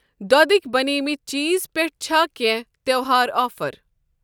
دۄدٕکؠ بَنیمٕتؠ چیٖز پٮ۪ٹھ چھا کینٛہہ تہٚوہار آفر؟